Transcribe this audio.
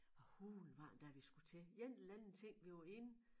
Hvad hulen var det da vi skulle til en eller anden ting vi var inde